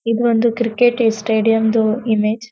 ಇದೊಂದು ಕ್ರಿಕೆಟ್ ಸ್ಟೇಡಿಯಂದು ಇಮೇಜ್ .